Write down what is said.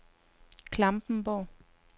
Klampenborg